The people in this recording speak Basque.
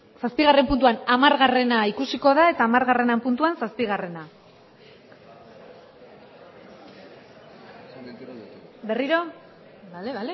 zazpigarren puntuan hamargarrena ikusiko da eta hamargarrenaren puntuan zazpigarrena berriro bale